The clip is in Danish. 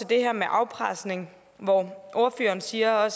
det her med afpresning hvor ordføreren siger at